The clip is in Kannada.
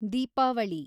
ದೀಪಾವಳಿ